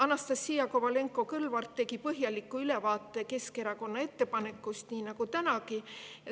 Anastassia Kovalenko-Kõlvart põhjaliku ülevaate Keskerakonna ettepanekust nii nagu tänagi.